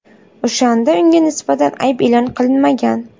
o‘shanda unga nisbatan ayb e’lon qilinmagan.